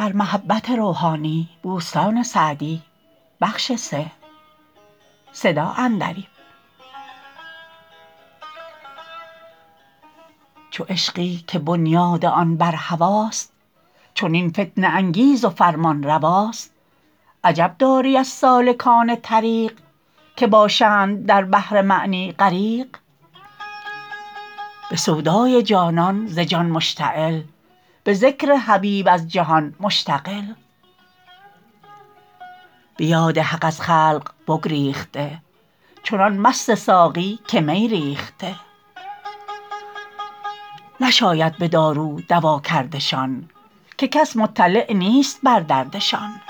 چو عشقی که بنیاد آن بر هواست چنین فتنه انگیز و فرمانرواست عجب داری از سالکان طریق که باشند در بحر معنی غریق به سودای جانان به جان مشتغل به ذکر حبیب از جهان مشتغل به یاد حق از خلق بگریخته چنان مست ساقی که می ریخته نشاید به دارو دوا کردشان که کس مطلع نیست بر دردشان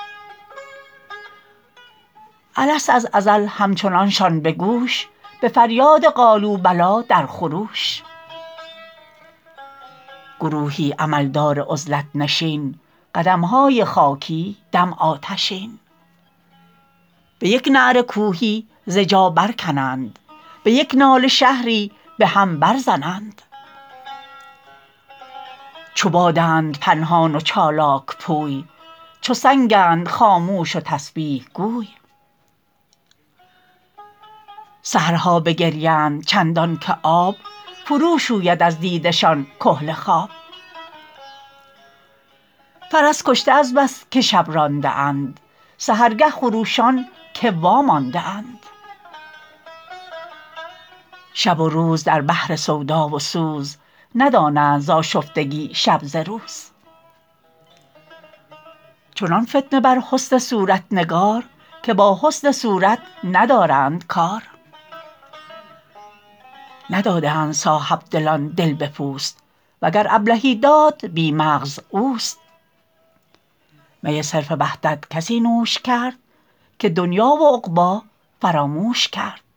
الست از ازل همچنانشان به گوش به فریاد قالوا بلی در خروش گروهی عمل دار عزلت نشین قدمهای خاکی دم آتشین به یک نعره کوهی ز جا بر کنند به یک ناله شهری به هم بر زنند چو بادند پنهان و چالاک پوی چو سنگند خاموش و تسبیح گوی سحرها بگریند چندان که آب فرو شوید از دیده شان کحل خواب فرس کشته از بس که شب رانده اند سحرگه خروشان که وامانده اند شب و روز در بحر سودا و سوز ندانند ز آشفتگی شب ز روز چنان فتنه بر حسن صورت نگار که با حسن صورت ندارند کار ندادند صاحبدلان دل به پوست وگر ابلهی داد بی مغز اوست می صرف وحدت کسی نوش کرد که دنیا و عقبی فراموش کرد